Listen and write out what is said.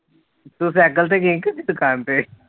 ਤੂੰ ਸੈਕਲ ਤੇ ਗਈ ਕਦੇ ਦੁਕਾਨ ਤੇ